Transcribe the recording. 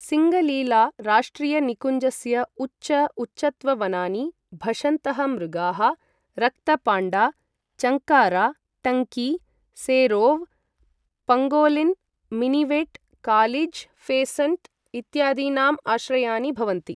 सिङ्ग्लीला राष्ट्रियनिकुञ्जस्य उच्च उच्चत्व वनानि, भषन्तः मृगाः, रक्त पाण्डा, चङ्कारा, टङ्की, serow, pangolin, minivet, kalij pheasant इत्यादीनाम् आश्रयानि भवन्ति।